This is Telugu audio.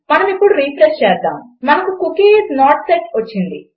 మనమిప్పుడు రిఫ్రెష్ చేద్దాము మనకు కుకీ ఐఎస్ నోట్ సెట్ వచ్చింది